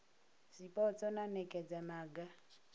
zwipotso na u nekedza maga